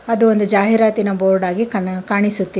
ಅದು ಒಂದು ಜಾಹೀರಾತಿನ ಬೋರ್ಡ್ ಆಗಿ ಕಾಣ್ ಕಾಣಿಸುತ್ತಿದೆ.